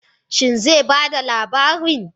Shin zai ba da labarin?